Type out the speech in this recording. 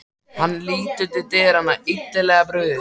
Hann lítur til dyranna, illilega brugðið.